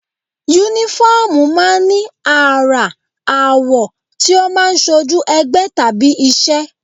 Únífọ́ọ̀mù máa ń ní àrà, àwọ̀ tí ó máa ń ṣojú ẹgbẹ́ tàbí iṣẹ́